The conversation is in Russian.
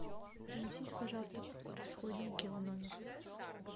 принесите пожалуйста расходники в номер